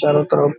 चारों तरफ